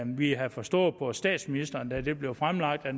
vi havde forstået på statsministeren da det blev fremlagt at